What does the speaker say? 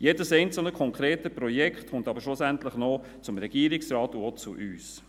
Jedes einzelne konkrete Projekt kommt aber schlussendlich noch zum Regierungsrat und auch zu uns.